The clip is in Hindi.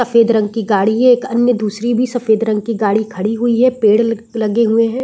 सफेद रंग की गाडी है एक अन्य दूसरी भी सफेद रंग की गाडी खड़ी हुई है पेड़ लग लगे हुए है ।